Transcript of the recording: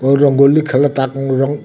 वो रंगोली खेलता रंग --